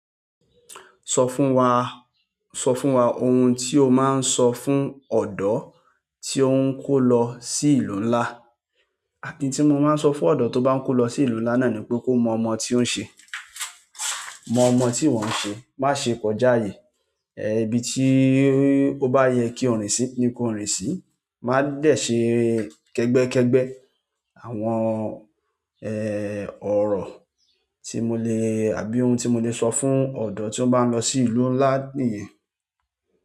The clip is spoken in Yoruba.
Sọ fún wa, sọ fún wa ohun tí o máa ń sọ fún ọ̀dọ́ tí ó ń kó lọ sí ìlú ńlá. Oun tí mo máa ń sọ fún ọ̀dọ́ tó bá ń kó lọ sí ìlú ńlá náà ni pé kó mọ ọmọ tí ó ń ṣe, mọ ọmọ tí ìwọ ń ṣe, má ṣe kọjá ààyè, eh, ibi tí ó bá yẹ kí o rìn sí ni kó rìn sí. Ma de se kegbekegbe. Àwọn, ẹ, ọ̀rọ̀ tí mo le àbí ohun tí mo lè sọ fún ọ̀dọ́ tí ó bá ń lọ sí ìlú ńlá nìyẹn.